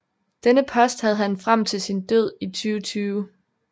Denne post havde han frem til sin død i 2020